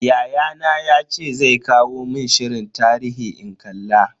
Yayana yace zai kawo mun shirin tarihi in kalla.